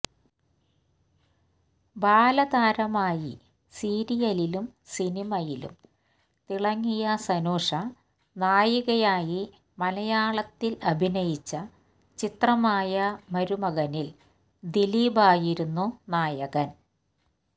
ബാലതാരമായി സീരിയലിലും സിനിമയിലും തിളങ്ങിയ സനുഷ നായികയായി മലയാളത്തില് അഭിനയിച്ച ചിത്രമായ മരുമകനില് ദിലീപായിരുന്നു നായകന്